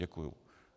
Děkuji.